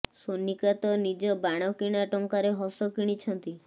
ସୋନିକା ତ ନିଜ ବାଣ କିଣା ଟଙ୍କାରେ ହସ କିଣିଛନ୍ତି